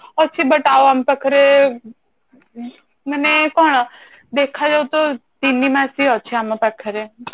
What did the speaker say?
ଅଛି but ଆଉ ଆମ ପାଖରେ ମାନେ କଣ ଦେଖା ଯିବ ତ ତିନିମାସ ହିଁ ଅଛି ଆମ ପାଖରେ